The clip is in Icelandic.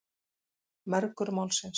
Mergur málsins.